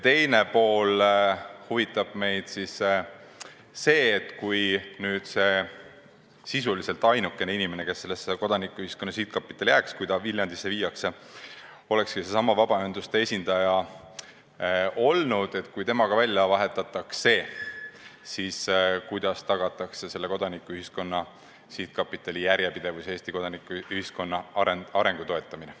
Teiseks huvitab meid see, et kui nüüd seesama inimene, kes jääks Viljandisse üle viidavasse Kodanikuühiskonna Sihtkapitali ja olekski olnud sisuliselt ainukene vabaühenduste esindaja, ka välja vahetatakse, siis kuidas tagatakse selle sihtkapitali järjepidevus ja Eesti kodanikuühiskonna arengu toetamine.